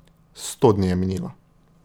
Sto dni je minilo.